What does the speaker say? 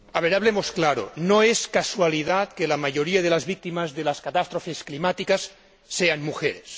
Señor Presidente, hablemos claro no es casualidad que la mayoría de las víctimas de las catástrofes climáticas sean mujeres.